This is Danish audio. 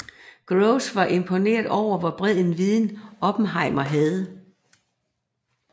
Groves var imponeret over hvor bred en viden Oppenheimer havde